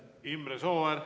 Imre Sooäär!